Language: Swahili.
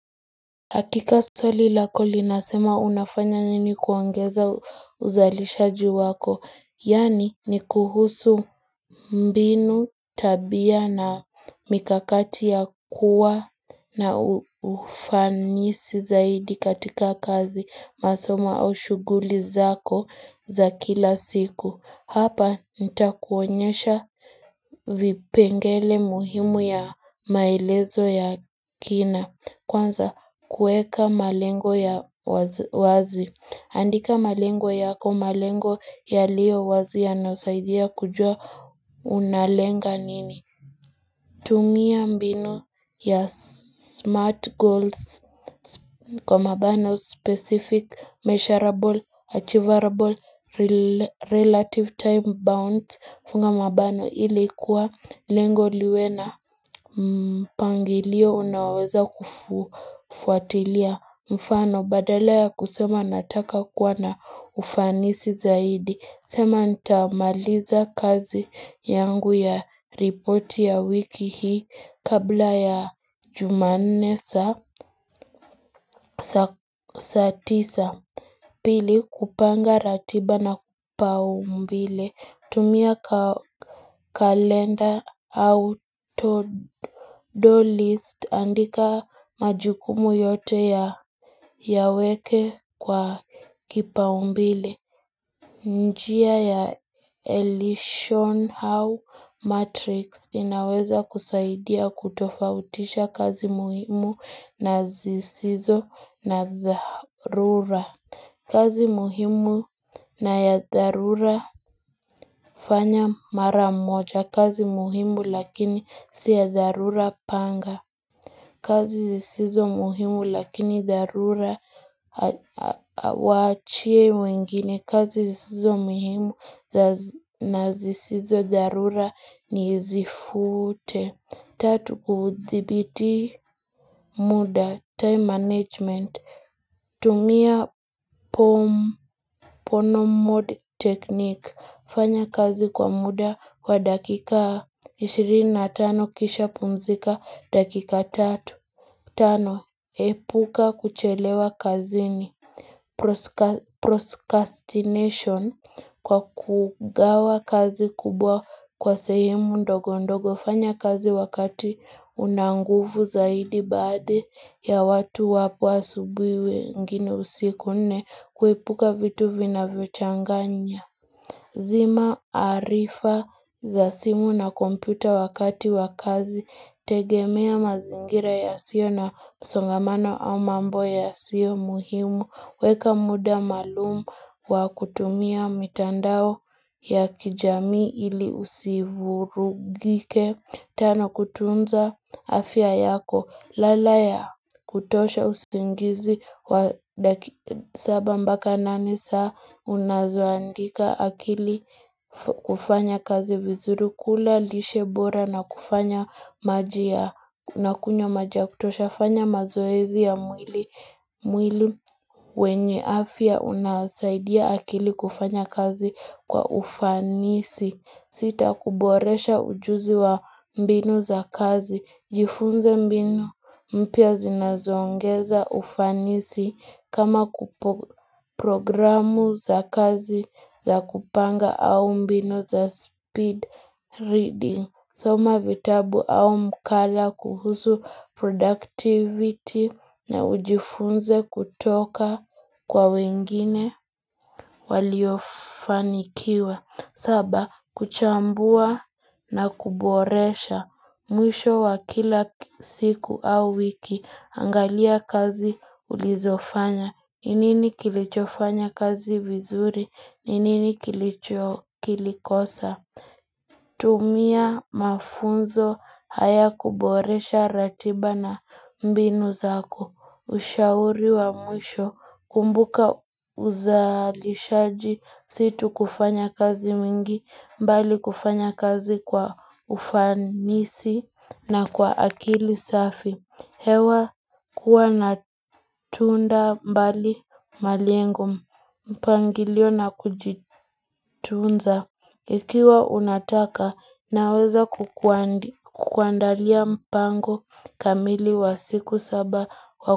Hakika swali lako linasema unafanya nini kuongeza uzalisha ji wako, yani ni kuhusu mbinu tabia na mikakati ya kuwa na ufanisi zaidi katika kazi masomo au shuguli zako za kila siku. Hapa nita kuonyesha vipengele muhimu ya maelezo ya kina Kwanza kueka malengo ya wazi Andika malengo yako malengo ya liyo wazi ya nasaidia kujua unalenga nini tumia mbinu ya smart goals kwa mabano specific, measurable, achievable, relative time bounds Funga mabano ili kuwa lengo liwena mpangilio unaoweza kufuatilia Mfano badala ya kusema nataka kuwa na ufanisi zaidi sema nitamaliza kazi yangu ya ripoti ya wiki hii kabla ya jumanne sa saa tisa. Pili kupanga ratiba na kupau mbile. Tumia kalenda auto list andika majukumu yote ya weke kwa kipaumbile. Njia ya Elishon Howe Matrix inaweza kusaidia kutofautisha kazi muhimu na zisizo na dharura. Kazi muhimu na ya dharura fanya mara moja. Kazi muhimu lakini siya dharura panga. Kazi zisizo muhimu lakini dharura wachia wengine. Kazi zisizo muhimu na zisizo dharura ni zifute. Tatu kuthibiti muda time management tumia pono mode technique fanya kazi kwa muda wa dakika 25 kisha pumzika dakika 3 Tano, epuka kuchelewa kazi ni proskastination kwa kugawa kazi kubwa kwa sehemu ndogo ndogo fanya kazi wakati unanguvu zaidi baadhi ya watu wapo asubui wengine usiku kuepuka vitu vina vyochanganya. Zima arifa za simu na kompyuta wakati wakazi, tegemea mazingira ya sio na msongamano au mambo ya sio muhimu, weka muda maalumu wa kutumia mitandao ya kijami ili usivurugike. Tano kutunza afya yako lalaya kutosha usingizi wa saba mbaka nani saa unazoandika akili kufanya kazi vizuri kula lishe bora na kufanya maji ya unakunywa maji ya kutosha fanya mazoezi ya mwili wenye afya unasaidia akili kufanya kazi kwa ufanisi. Sita kuboresha ujuzi wa mbinu za kazi. Jifunze mbinu mpya zinazoongeza ufanisi kama kupo programu za kazi za kupanga au mbinu za speed reading. Soma vitabu au mkala kuhusu productivity na ujifunze kutoka kwa wengine waliofanikiwa. Saba, kuchambua na kuboresha mwisho wa kila siku au wiki. Angalia kazi ulizofanya. Nini kilichofanya kazi vizuri? Nini kilichokilikosa? Tumia mafunzo haya kuboresha ratiba na mbinu zako ushauri wa mwisho kumbuka uzalishaji situ kufanya kazi mingi mbali kufanya kazi kwa ufanisi na kwa akili safi. Hewa kuwa na tuunda mbali malengo mpangilio na kujitunza ikiwa unataka naweza kukuandalia mpango kamili wa siku saba wako.